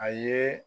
A ye